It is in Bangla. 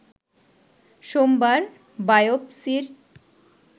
সোমবার বায়োপসি’র